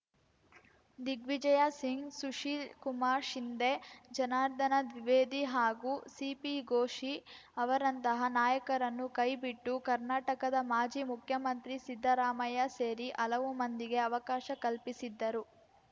ದಿಗ್ವಿಜಯ ಸಿಂಗ್‌ ಸುಶೀಲ್‌ ಕುಮಾರ್‌ ಶಿಂಧೆ ಜನಾರ್ದನ ದ್ವಿವೇದಿ ಹಾಗೂ ಸಿಪಿ ಗೋಶಿ ಅವರಂತಹ ನಾಯಕರನ್ನು ಕೈಬಿಟ್ಟು ಕರ್ನಾಟಕದ ಮಾಜಿ ಮುಖ್ಯಮಂತ್ರಿ ಸಿದ್ದರಾಮಯ್ಯ ಸೇರಿ ಹಲವು ಮಂದಿಗೆ ಅವಕಾಶ ಕಲ್ಪಿಸಿದ್ದರು